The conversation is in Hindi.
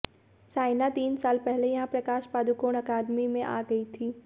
साइना तीन साल पहले यहां प्रकाश पादुकोण अकादमी में आ गई थी